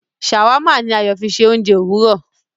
Shawarma ní Ayo fí ṣe oúnjẹ Òwúrọ